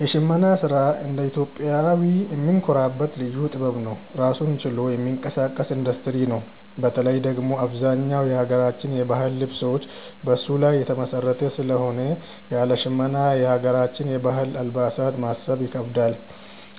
የሽመና ስራ እንደ ኢትዮጵያዊ የምንኮራበት ልዩ ጥበብ ነው። ራሱን ችሎ የሚንቀሳቀስ ኢንዱስትሪ ነው። በተለይ ደግሞ አብዛኛው የሀገራችን የባህል ልብሶች በሱ ላይ የተመሰረተ ስለሆነ ያለ ሽመና የሀገራችንን የባህል አልባሳት ማሰብ ይከብዳል።